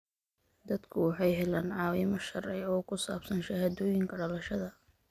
Dadku waxay helaan caawimo sharci oo ku saabsan shahaadooyinka dhalashada.